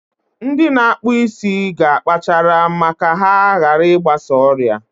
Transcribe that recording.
Ndị na-akpụ isi ga akpachara ma ka ha hara I gbasa ọrịa.